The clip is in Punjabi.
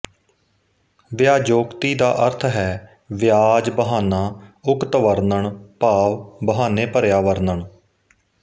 ਵਿਆਜੋਕਤੀ ਦਾ ਅਰਥ ਹੈ ਵਿਆਜ ਬਹਾਨਾ ਉਕਤ ਵਰਣਨ ਭਾਵ ਬਹਾਨੇ ਭਰਿਆ ਵਰਣਨ